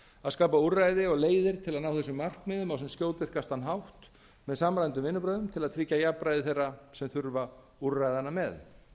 að skapa úrræði og leiðir til þess að ná þessum markmiðum á sem skjótvirkastan hátt með samræmdum vinnubrögðum sem tryggja jafnræði þeirra sem þurfa úrræðanna með